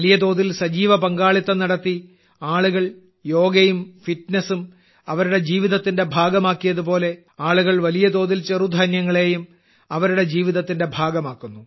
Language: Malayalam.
വലിയ തോതിൽ സജീവപങ്കാളിത്തം നടത്തി ആളുകൾ യോഗവും ഫിറ്റ്നസ്സും അവരുടെ ജീവിതത്തിന്റെ ഭാഗമാക്കിയതുപോലെ ആളുകൾ വലിയ തോതിൽ ചെറുധാന്യങ്ങളെയും അവരുടെ ജീവിതത്തിന്റെ ഭാഗമാക്കുന്നു